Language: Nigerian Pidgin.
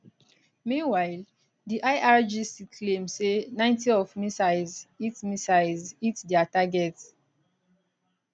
meanwhile di irgc claim say 90 of missiles hit missiles hit dia targets